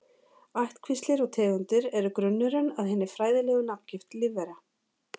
Ættkvíslir og tegundir eru grunnurinn að hinni fræðilegu nafngift lífvera.